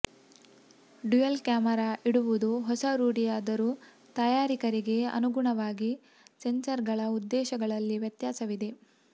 dual camera ಇಡುವುದು ಹೊಸ ರೂಢಿಯಾದರೂ ತಯಾರಕರಿಗೆ ಅನುಗುಣವಾಗಿ ಸೆನ್ಸರ್ಗಳ ಉದ್ದೇಶಗಳಲ್ಲಿ ವ್ಯತ್ಯಾಸವಿದೆ